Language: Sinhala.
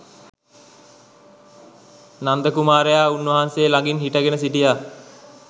නන්ද කුමාරයා උන්වහන්සේ ළඟින් හිටගෙන සිටියා.